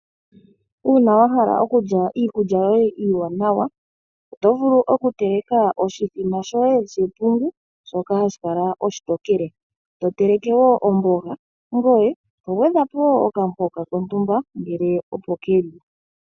Uuna wa hala okulya iikulya yoye iiwanawa oto vulu oku teleka oshimbombo shepungu shoka hashi kala oshitokele. To teleke wo omboga ngoye to gwedhapo wo okamuhoka kontumba ngele opo keli.